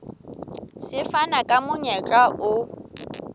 se fana ka monyetla o